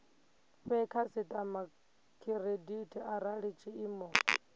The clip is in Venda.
fhe khasitama khiredithi arali tshiimo